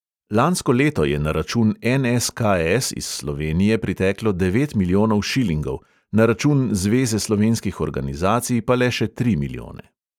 Lansko leto je na račun NSKS iz slovenije priteklo devet milijonov šilingov, na račun zveze slovenskih organizacij pa le še tri milijone.